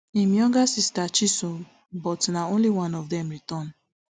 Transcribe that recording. im younger sister chisom but na only one of dem return